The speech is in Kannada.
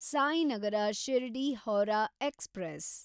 ಸಾಯಿನಗರ ಶಿರ್ಡಿ–ಹೌರಾ ಎಕ್ಸ್‌ಪ್ರೆಸ್